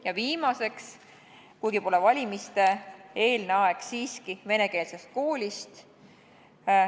Ja viimane küsimus: kuigi pole valimiste-eelne aeg, küsime siiski venekeelse kooli kohta.